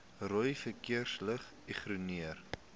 rooi verkeersligte ignoreer